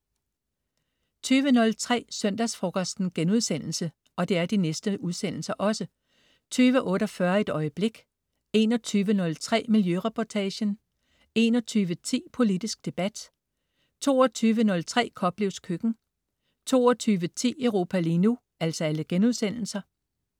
20.03 Søndagsfrokosten* 20.48 Et øjeblik* 21.03 Miljøreportagen* 21.10 Politisk debat* 22.03 Koplevs Køkken* 22.10 Europa lige nu*